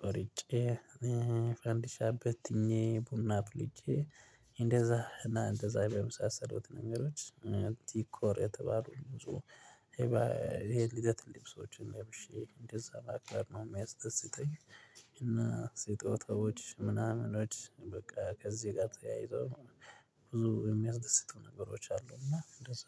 ቆርጬ እ ፈንዲሻ በትኜ ቡና አፍልቼ እንደዛ እና እንደዛ በመሳሰሉት ነገሮች እ ዲኮር የተባሉ ብዙ ይሄ ልደት ልብሶችን ለብሼ እንደዛ ማክበር ነው የሚያስደስተኝ። እና ስጦታዎች ምናምኖች በቃ ከዚህ ጋር ተያይዘው ብዙ የሚያስደስቱ ነገሮች አሉ። እና እንደዛ